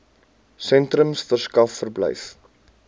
sentrums verskaf verblyf